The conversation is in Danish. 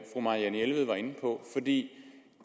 der blev